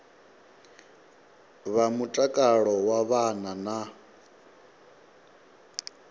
vha mutakalo wa vhana na